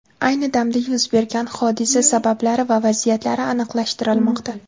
Ayni damda yuz bergan hodisa sabablari va vaziyatlari aniqlashtirilmoqda.